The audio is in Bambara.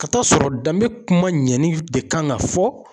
Ka t'a sɔrɔ danbe kuma ɲɛli de kan ka fɔ.